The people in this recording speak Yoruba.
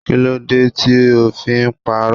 Kíló dé tí ó fi ń pa'rọ́?